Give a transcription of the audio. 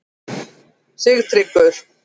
Sigtryggur